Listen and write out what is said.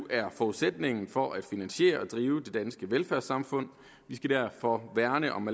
er forudsætningen for at finansiere og drive det danske velfærdssamfund vi skal derfor værne om